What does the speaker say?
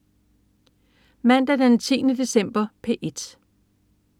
Mandag den 10. december - P1: